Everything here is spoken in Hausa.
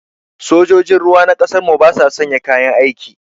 Sojojin ruwa na ƙasar mu ba sa sanya kayan aiki